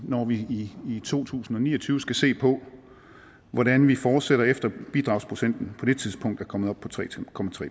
når vi i to tusind og ni og tyve skal se på hvordan vi fortsætter efter at bidragsprocenten på det tidspunkt er kommet op på tre